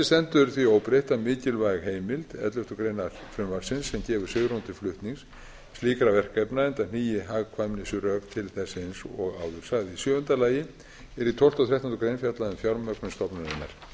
stendur því óbreytt að mikilvæg heimild elleftu greinar frumvarpsins sem gefur svigrúm til flutnings slíkra verkefna enda hnígi hagkvæmnisrök til þess eins og áður sagði í sjöunda lagi er í tólfta og þrettándu greinar fjallað um fjármögnun stofnunarinnar